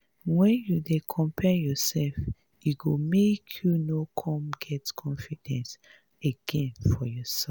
wen you dey compare yourself e go make you no come get confidence again for yourself.